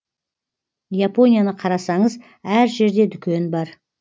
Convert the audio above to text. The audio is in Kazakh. японияны қарасаңыз әр жерде дүкен бар